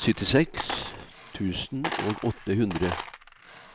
syttiseks tusen og åtte hundre